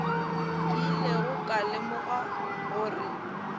ke ilego ka lemoga gore